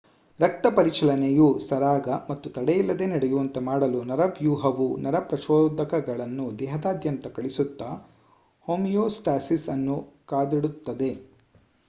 ರಕ್ತ ಪರಿಚಲನೆಯು ಸರಾಗ ಹಾಗೂ ತಡೆಯಿಲ್ಲದೆ ನಡೆಯುವಂತೆ ಮಾಡಲು ನರವ್ಯೂಹವು ನರ ಪ್ರಚೋದಕಗಳನ್ನು ದೇಹದಾದ್ಯಂತ ಕಳಿಸುತ್ತಾ ಹೋಮಿಯೋಸ್ಟಾಸಿಸ್ ಅನ್ನು ಕಾದಿಡುತ್ತದೆ